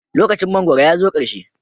Lokacin mangwaro ya zo ƙarshe.